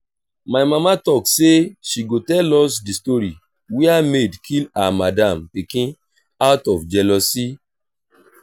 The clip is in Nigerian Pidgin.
my mama talk say she go tell us the story where maid kill her madam pikin out of jealousy